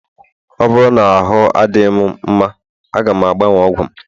ọ bụrụ na ahụ adịghị m mma, a ga m agbanwe ọgwụ m